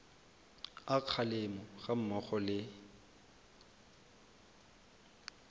a kgalemo ga mmogo le